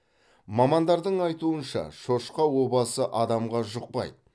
мамандардың айтуынша шошқа обасы адамға жұқпайды